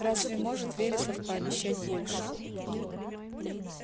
разве может вересов пообещать больше